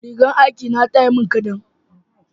rigar aiki na ta mun kadan